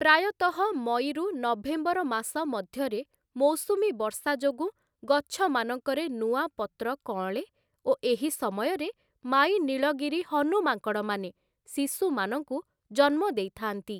ପ୍ରାୟତଃ ମଇରୁ ନଭେମ୍ବର ମାସ ମଧ୍ୟରେ ମୌସୁମୀ ବର୍ଷା ଯୋଗୁଁ ଗଛମାନଙ୍କରେ ନୂଆ ପତ୍ର କଅଁଳେ ଓ ଏହି ସମୟରେ ମାଈ ନୀଳଗିରି ହନୁମାଙ୍କଡ଼ମାନେ ଶିଶୁମାନଙ୍କୁ ଜନ୍ମ ଦେଇଥାନ୍ତି ।